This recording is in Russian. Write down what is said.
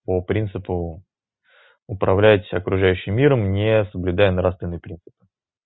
по принципу управлять с окружающим миром не соблюдая нравственные принципы